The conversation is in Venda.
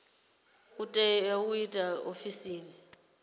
tea u itwa ofisini ya